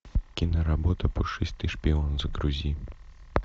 киноработа пушистый шпион загрузи